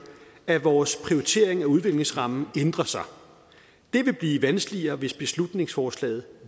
at vores prioritering af udviklingsrammen ændrer sig det vil blive vanskeligere hvis beslutningsforslaget